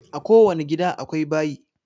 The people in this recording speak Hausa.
A ko wani gida akwai bayi